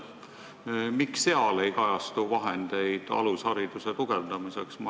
Miks seal ei kajastu vahendeid alushariduse tugevdamiseks?